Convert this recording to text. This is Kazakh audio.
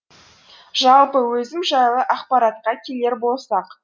жалпы өзім жайлы ақпаратқа келер болсақ